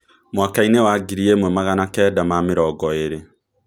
Mwaka-inĩ wa ngiri ĩmwe magana kenda ma mĩrongo ĩrĩ